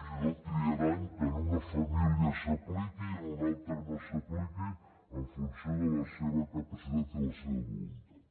fins i tot triaran que en una família s’apliqui i en una altra no s’apliqui en funció de la seva capacitat i la seva voluntat